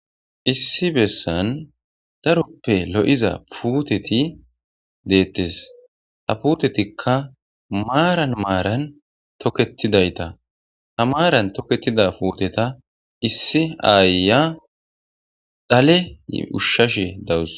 issi bessan daroppe lo7iza puuteti deettes ha putetikka maaran maaran toketidayta ha maaran toketida puteta issi aaya dhale ushshashe dawus